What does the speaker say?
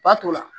Ba t'o la